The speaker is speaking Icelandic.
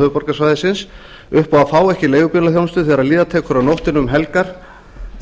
höfuðborgarsvæðisins upp á að fá ekki leigubílaþjónustu þegar líða tekur á nótt og um helgar